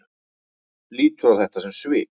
Lítur á þetta sem svik?